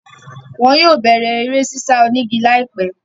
Wọn yóò bẹ̀rẹ̀ eré sísá onígi láìpẹ́.